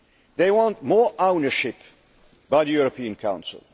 They want more ownership by the European Council.